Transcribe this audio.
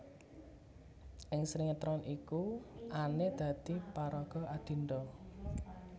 Ing sinetron iku Anne dadi paraga Adinda